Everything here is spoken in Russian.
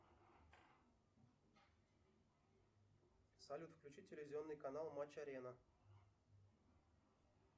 салют включи телевизионный канал матч арена